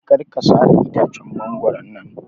Kar ka sare itacen mangoron nan